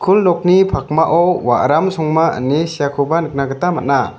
nokni pakmao waram songma ine seakoba nikna gita man·a.